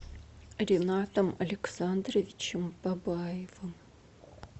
ринатом александровичем бабаевым